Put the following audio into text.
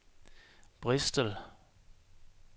Bristol